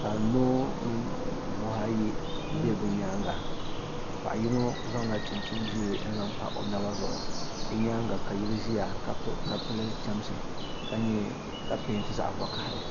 ka noo mini buhi ayi be bɛ nyaaga paɣa yino zaŋla chinchini ʒee n-zaŋ pa o naba zuɣu bɛ nyaaga ka yili ʒiya ka pili chamsi ka peenti zaɣ' vakaha li.